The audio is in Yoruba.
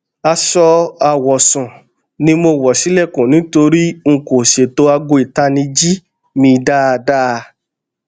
aṣọ awọsun ni mo wọ ṣilẹkun nitori n kò ṣeto aago itaniji mi daadaa